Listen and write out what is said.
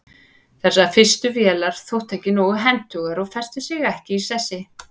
þessar fyrstu vélar þóttu ekki nógu hentugar og festu sig ekki í sessi